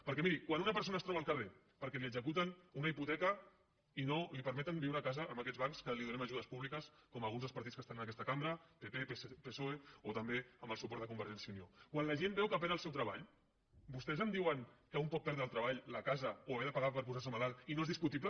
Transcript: perquè miri quan una persona es troba al carrer perquè li executen una hipoteca i no li permeten viure a casa amb aquests bancs que els donem ajudes públiques com alguns dels partits que estan en aquesta cambra pp psoe o també amb el suport de convergència i unió quan la gent veu que perd el seu treball vostès em diuen que un pot perdre el treball la casa o haver de pagar per posar se malalt i no és discutible